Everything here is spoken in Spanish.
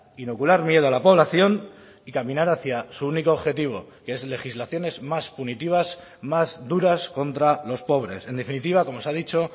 inocular miedo a la población y caminar hacia su único objetivo que es legislaciones más punitivas más duras contra los pobres en definitiva como se ha dicho